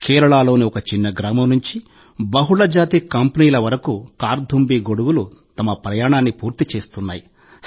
కేరళలోని ఒక చిన్న గ్రామం నుండి బహుళజాతి కంపెనీల వరకు కార్థుంబీ గొడుగులు తమ ప్రయాణాన్ని పూర్తి చేస్తున్నాయి